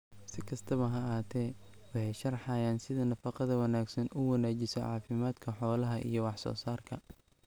Si kastaba ha ahaatee, waxay sharxayaan sida nafaqada wanaagsani u wanaajiso caafimaadka xoolaha iyo wax soo saarka.